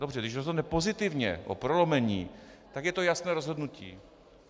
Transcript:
Dobře, když rozhodne pozitivně o prolomení, tak je to jasné rozhodnutí.